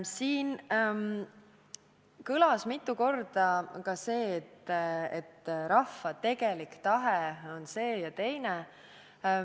Siin kõlas mitu korda ka see, et rahva tegelik tahe on see ja teine.